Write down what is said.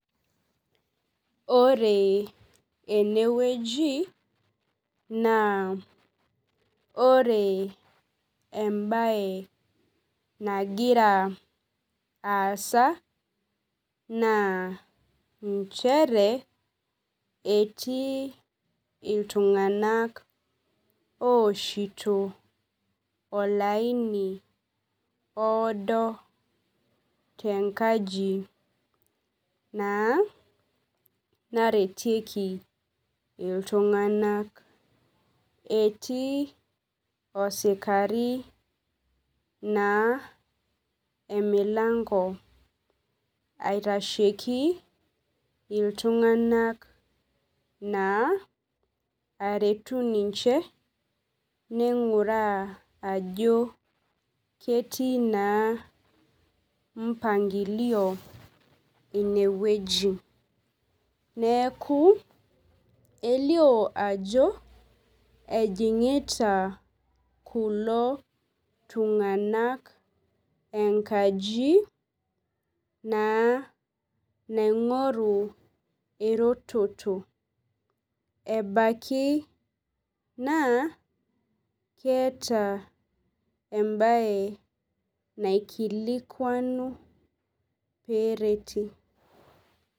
Ore enewueji na ore embae nagira aasa na nchere etii iltunganak oshito olaini oodo tenkaji na narwtieki ltunganak etii osikari na emilango aitasheki ltunganak naa aretu ninche ninguraa ajo ketii na mpangilio inewueji neaku elio ajo ejingita kulo tunganak enkaji naa naingoru eretoto ebaki na keeta embae naikilikwanu peretie.